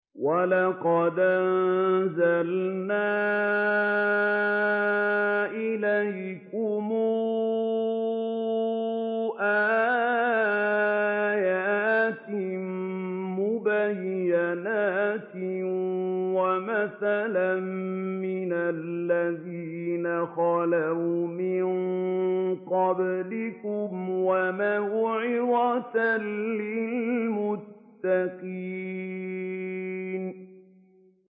وَلَقَدْ أَنزَلْنَا إِلَيْكُمْ آيَاتٍ مُّبَيِّنَاتٍ وَمَثَلًا مِّنَ الَّذِينَ خَلَوْا مِن قَبْلِكُمْ وَمَوْعِظَةً لِّلْمُتَّقِينَ